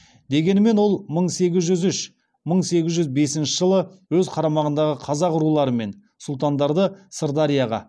дегенмен ол мың сегіз жүз үш мың сегіз жүз бесінші жылы өз қарамағындағы қазақ рулары мен сұлтандарды сырдарияға